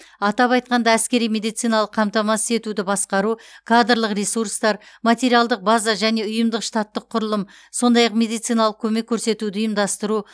атап айтқанда әскери медициналық қамтамасыз етуді басқару кадрлық ресурстар материалдық база және ұйымдық штаттық құрылым сондай ақ медициналық көмек көрсетуді ұйымдастыру